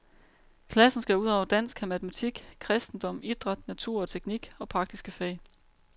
Klassen skal udover dansk have matematik, kristendom, idræt, natur og teknik og praktiske fag.